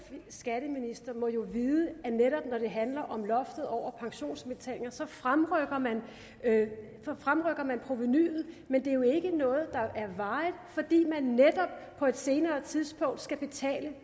skatteminister må jo vide at netop når det handler om loftet over pensionsindbetalinger så fremrykker man fremrykker man provenuet men det er jo ikke noget der er varigt fordi man netop på et senere tidspunkt skal betale